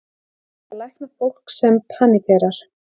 Er hægt að lækna fólk sem paníkerar?